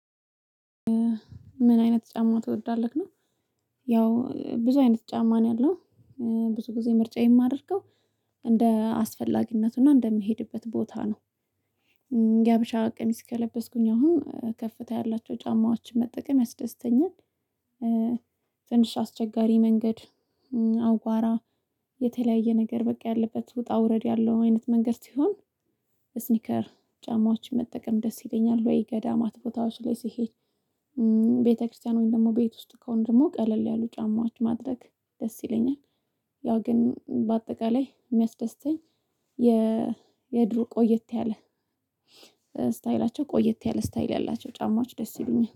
ምን አይነት ጫማ ትወዳለህ ነው? ያው ብዙ አይነት ጫማ ነው ያለው ብዙ ጊዜ ምርጫ የማደርገው እንደ አስፈላጊነቱና እንደምሄድበት ቦታ ነው። የሀበሻ ቀሚስ ከለበስኩኝ አሁን ከፍታ ያላቸው ጫማዎችን መጠቀም ያስደስተኛል። ትንሽ አስቸጋሪ መንገድ አወራ የተለያየ ነገር በቃ ያለበት ውጣ ውረድ ያለው አይነት መንገድ ሲሆን ስኒከር ጫማዎችን መጠቀም ደስ ይለኛል ወይ ገዳማት ቦታዎች ላይ ሲሄድ። ቤተክርስቲያን ወይም ደግሞ ቤት ውስጥ ከሆነ ደግሞ ቀለል ያሉ ጫማዎች ማድረግ ደስ ይለኛል። ያው ግን በአጠቃላይ የሚያስደስተኝ የድሮ ቆየት ያለ ስታይላቸው ቆየት ያለ ስታይል ያላቸው ጫማዎች ደስ ይሉኛል